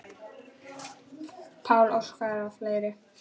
Pál Óskar og fleiri.